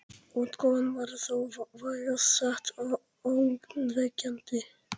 Útkoman var þó vægast sagt ógnvekjandi.